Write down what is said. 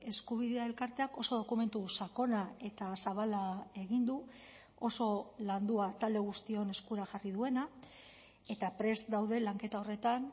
eskubidea elkarteak oso dokumentu sakona eta zabala egin du oso landua talde guztion eskura jarri duena eta prest daude lanketa horretan